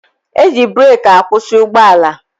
E ji breeki akwụsị ụgbọala